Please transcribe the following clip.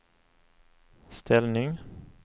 ställning